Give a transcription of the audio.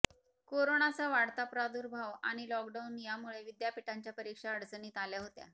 कोरोनाचा वाढता प्रादुर्भाव आणि लॉकडाऊन यामुळे विद्यापीठांच्या परीक्षा अडचणीत आल्या होत्या